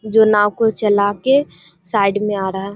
जो नाव को चला के साइड मे आ रहा।